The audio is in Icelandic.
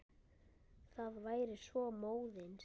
Það væri svo móðins.